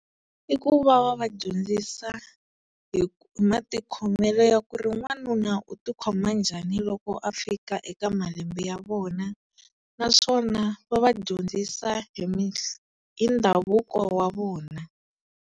I ku va va va dyondzisa hi matikhomelo ya ku ri n'wanuna u ti khoma njhani loko a fika eka malembe ya vona naswona va va dyondzisa hi hi ndhavuko wa vona.